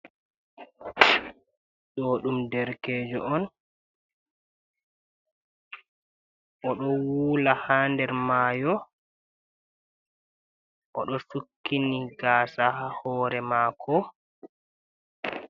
Ɗo ɗum derkejo on oɗo wula ha nder mayo oɗo sukkini gasaa ha hore mako.